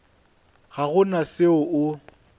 ga go na se o